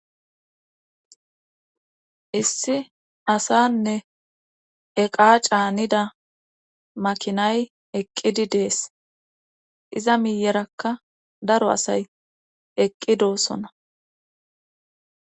issi asaanne eqaa caanida makinay eqqidi des iza miyerakka daro asay eqqi doosona.